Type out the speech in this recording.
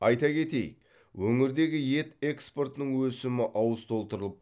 айта кетейік өңірдегі ет экспортының өсімі ауыз толтырылып